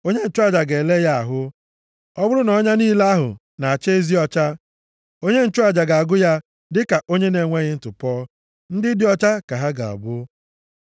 Onye nchụaja ga-ele ya ahụ. Ọ bụrụ na ọnya niile ahụ na-acha ezi ọcha, onye nchụaja ga-agụ ya dịka onye na-enweghị ntụpọ. Ndị dị ọcha ka ha ga-abụ.